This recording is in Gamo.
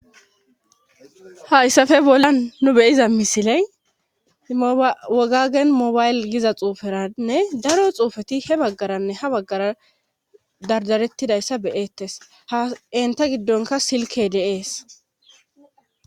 hayssafe bollan nu beyiza misiley wogagen mobayle giza xuuferanne daro xuufeti he baggaranne ha baggara dardarettidayssa beyettes ha enta giddonka silke deees